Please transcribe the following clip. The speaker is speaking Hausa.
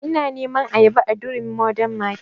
Ina neman ayaba a durumi mordern market